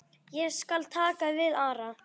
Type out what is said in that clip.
Ég skal taka við Ara.